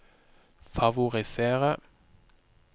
favorisere